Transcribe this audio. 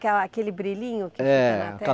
aquele brilhinho que fica na